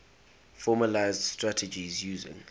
formalised strategies using